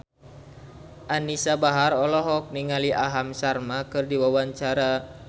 Anisa Bahar olohok ningali Aham Sharma keur diwawancara